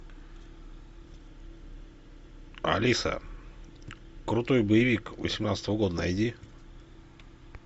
алиса крутой боевик восемнадцатого года найди